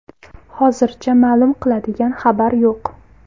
Hozircha ma’lum qiladigan xabar yo‘q.